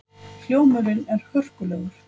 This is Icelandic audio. Hljómurinn er hörkulegur.